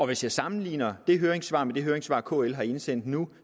hvis jeg sammenligner det høringssvar med det høringssvar kl har indsendt nu